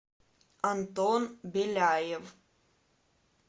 антон беляев